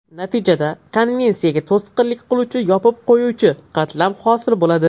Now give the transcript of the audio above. Natijada konveksiyaga to‘sqinlik qiluvchi ‘yopib qo‘yuvchi’ qatlam hosil bo‘ladi.